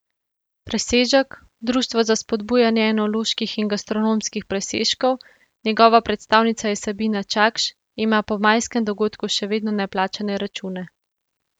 Presežek, društvo za spodbujanje enoloških in gastronomskih presežkov, njegova predstavnica je Sabina Čakš, ima po majskem dogodku še vedno neplačane račune.